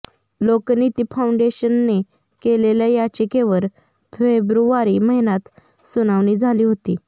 लोकनीती फाउंडेशनने केलेल्या याचिकेवर फेब्रुवारी महिन्यात सुनावणी झाली होती